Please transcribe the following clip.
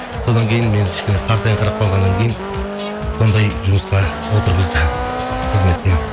содан кейін мен кішкене қартайынқырап қалғаннан кейін сондай жұмысқа отырғызды қызметпен